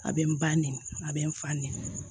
A bɛ n ba ne a bɛ n fa nin